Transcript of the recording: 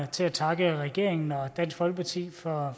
til at takke regeringen og dansk folkeparti for